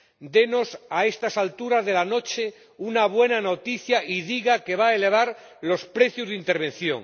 Denos a estas alturas de la noche una buena noticia y diga que va a elevar los precios de intervención.